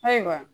Ayiwa